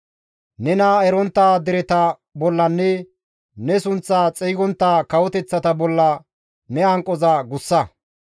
Nena erontta dereta bollanne ne sunththa xeygontta kawoteththata bolla ne hanqoza gussa.